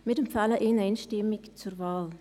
Wir empfehlen ihn einstimmig zur Wahl.